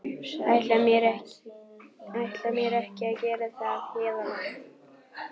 Ætla mér ekki að gera það héðan af.